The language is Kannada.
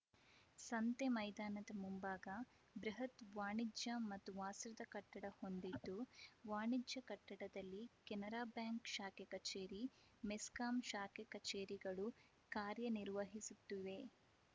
ಸಂತೆ ಮೈದಾನದ ಮುಂಭಾಗ ಬೃಹತ್‌ ವಾಣಿಜ್ಯ ಮತ್ತು ವಾಸದ ಕಟ್ಟಡ ಹೊಂದಿದ್ದು ವಾಣಿಜ್ಯ ಕಟ್ಟಡದಲ್ಲಿ ಕೆನರಾ ಬ್ಯಾಂಕ್‌ ಶಾಖಾ ಕಚೇರಿ ಮೆಸ್ಕಾಂ ಶಾಖಾ ಕಚೇರಿಗಳು ಕಾರ್ಯನಿರ್ವಹಿಸುತ್ತಿವೆ